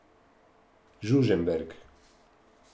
Žužemberk.